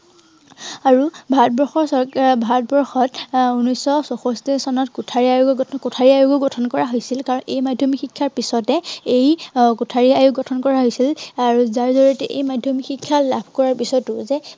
আৰু ভাৰতবৰ্ষৰ চৰকাৰে, ভাৰতবৰ্ষত আহ উনৈচ শ চৌষষ্ঠি চনত কোঠাৰী আয়োগ, এৰ কোঠাৰী আয়োগো গঠন কৰা হৈছিল। কাৰন এই মাধ্যমিক শিক্ষাৰ পিছতে আহ এই কোঠাৰী আয়োগ গঠন কৰা হৈছিল। আহ আৰু যাৰ জড়িয়তে এই মাধ্য়মিক শিক্ষা লাভ কৰাৰ পিছতো যে